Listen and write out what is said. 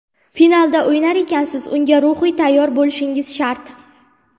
Finalda o‘ynar ekansiz, unga ruhiy tayyor bo‘lishingiz shart.